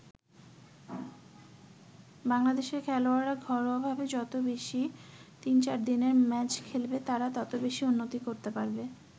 বাংলাদেশের খেলোয়াড়রা ঘরোয়া ভাবে যত বেশি তিন-চারদিনের ম্যাচ খেলবে তারা তত বেশি উন্নতি করতে পারবে।